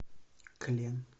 клен